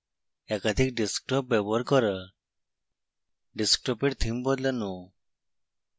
একাধিক ডেস্কটপ ব্যবহার করা